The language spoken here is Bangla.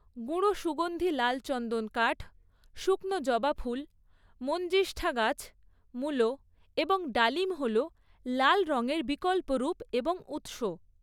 গুঁড়ো সুগন্ধি লাল চন্দন কাঠ, শুকনো জবা ফুল, মঞ্জিষ্ঠা গাছ, মুলো এবং ডালিম হল লাল রঙের বিকল্প রুপ এবং উৎস।